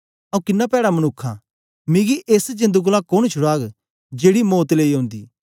आंऊँ किन्ना पैड़ा मनुक्ख आं मिगी एस जेंद कोलां कोन छुड़ाग जेड़ी मौत लेई ओंदी